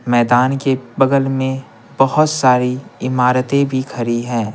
मैदान के बगल में बहुत सारी इमारतें भी खड़ी हैं।